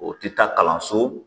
O tɛ taa kalanso